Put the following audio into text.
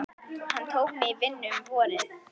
Hann tók mig í vinnu um vorið.